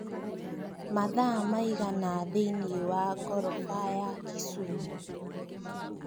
mathaa maigana thĩinĩ wa ngorofa ya kisumu